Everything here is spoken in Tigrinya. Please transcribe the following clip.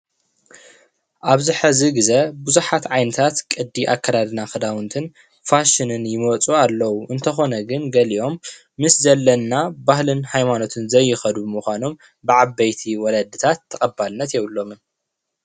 ኣብዚ ሕዚ ግዘ ብዙሓት ዓይነታት ቅዲ ኣከዳድና ክዳውንትን ፋሽንን ይመፁ ኣለው። እንተኮነ ግን ገሊኦም ምስ ዘለና ባህልን ሃይማኖትን ዘይከዱ ምኳኖም ብዓበይቲ ወለድታት ተቀባልነት የብሎምን፡፡